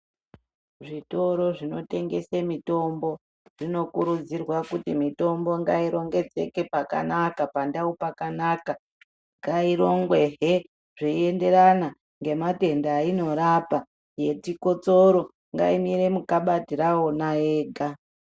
Zvitoro zvinotengese mitombo zvinokurudzirwa kuti mitombo ngairongedzeke pakanaka pandau pakanaka. Ngairongwehe zveienderana ngematenda einorapa. Yechikotsoro ngaimire mukabati rawona yega.